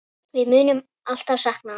Við munum alltaf sakna hans.